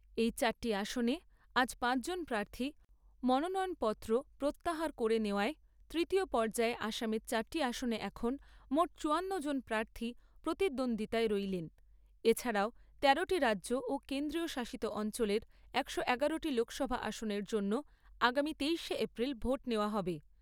এই চারটি আসনে আজ পাঁচ জন প্রার্থী মনোনয়ন পত্র প্রত্যাহার করে নেওয়ায় তৃতীয় পর্যায়ে আসামের চারটি আসনে এখন মোট চুয়ান্ন জন প্রার্থী প্রতিদ্বন্দ্বিতায় রইলেন এছাড়াও তেরোটি রাজ্য ও কেন্দ্রশাসিত অঞ্চলের একশো এগারোটি লোকসভা আসনের জন্য আগামী তেইশে এপ্রিল ভোট নেওয়া হবে।